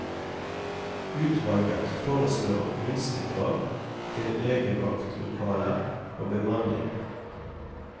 Utvalget foreslår minstekrav til legevaktlokaler og bemanning.